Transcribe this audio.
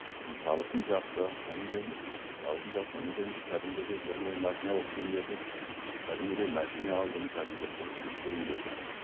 табысым жақсы одан кейін табысым жақсы одан кейін кәдімгідей бұрын енді машина алу қиын еді кәдімгідей машина алдым кәдімгі сөйтіп жүрген кезде